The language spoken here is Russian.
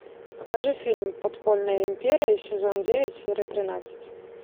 покажи фильм подпольная империя сезон девять серия тринадцать